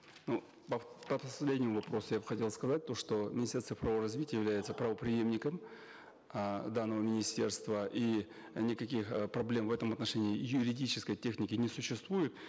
ну по последнему вопросу я бы хотел сказать то что министерство цифрового развития является правопреемником э данного министерства и никаких э проблем в этом отношении юридической техники не существует